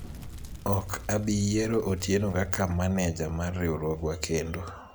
ok abi yiero Otieno kaka maneja mar riwruogwa kendo